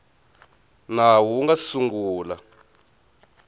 nawu wu nga si sungula